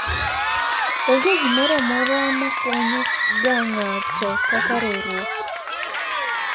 onge gimoro amora ma konyo ga ng'ato kaka riwruok